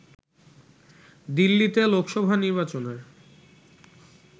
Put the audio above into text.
দিল্লিতে লোকসভা নির্বাচনের